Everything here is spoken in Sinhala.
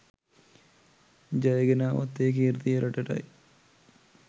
ජය ගෙනාවොත් ඒ කීර්තිය රටටයි.